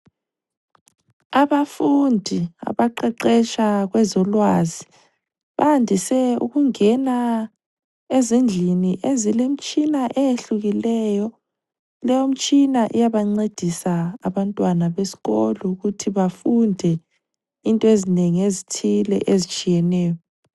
Abafundi abaqeqesha kwezolwazi bandise ukungena ezindlini ezilemtshina eyehlukileyo, leyomtshina iyabancedisa abantwana besikolo ukuthi bafunde into ezinengi ezithile ezitshiyeneyo.